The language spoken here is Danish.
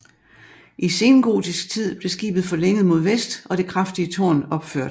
I sengotisk tid blev skibet forlænget mod vest og det kraftige tårn opført